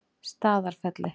Staðarfelli